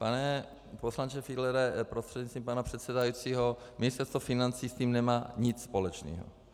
Pane poslanče Fiedlere prostřednictvím pana předsedajícího Ministerstvo financí s tím nemá nic společného.